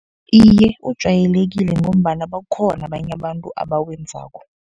Iye, ujayelekile ngombana bakhona abanye abantu abawenzako.